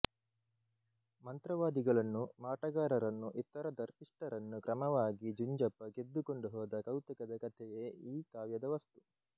ಮಂತ್ರವಾದಿಗಳನ್ನು ಮಾಟಗಾರರನ್ನು ಇತರ ದರ್ಪಿಷ್ಟರನ್ನು ಕ್ರಮವಾಗಿ ಜುಂಜಪ್ಪ ಗೆದ್ದುಕೊಂಡು ಹೋದ ಕೌತುಕದ ಕತೆಯೇ ಈ ಕಾವ್ಯದ ವಸ್ತು